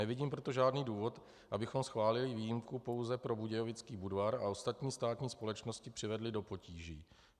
Nevidím proto žádný důvod, abychom schválili výjimku pouze pro Budějovický Budvar a ostatní státní společnosti přivedli do potíží.